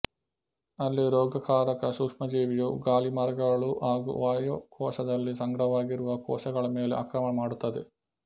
ಅಲ್ಲಿ ರೋಗಕಾರಕ ಸೂಕ್ಷ್ಮಜೀವಿಯು ಗಾಳಿಮಾರ್ಗಗಳು ಹಾಗು ವಾಯುಕೋಶದಲ್ಲಿ ಸಂಗ್ರಹವಾಗಿರುವ ಕೋಶಗಳ ಮೇಲೆ ಆಕ್ರಮಣ ಮಾಡುತ್ತದೆ